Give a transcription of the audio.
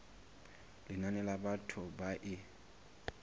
lenane la batho ba e